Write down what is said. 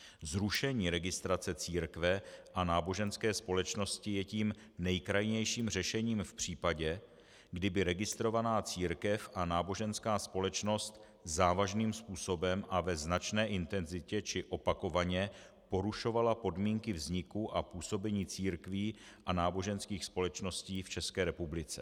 Zrušení registrace církve a náboženské společnosti je tím nejkrajnějším řešením v případě, kdyby registrovaná církev a náboženská společnost závažným způsobem a ve značné intenzitě či opakovaně porušovala podmínky vzniku a působení církví a náboženských společností v České republice.